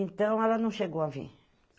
Então, ela não chegou a vir.